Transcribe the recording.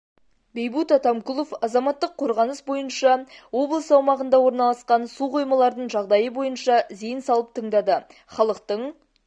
бейбут атамкулов азаматтық қорғаныс бойынша облыс аумағында орналасқан су қоймалардың жағдайы бойынша зейн салып тыңдады халықтың